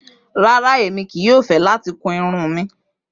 Rara, Emi kii yoo fẹ lati kun irun mi.